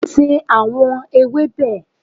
se awọn ewebe!